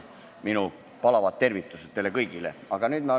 Minu palavad tervitused teile kõigile!